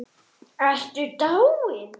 Ertu dáin?